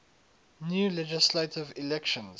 new legislative elections